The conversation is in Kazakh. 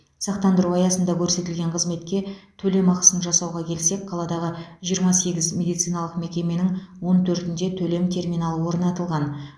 сақтандыру аясында көрсетілген қызметке төлем ақысын жасауға келсек қаладағы жиырма сегіз медициналық мекеменің он төртінде төлем терминалы орнатылған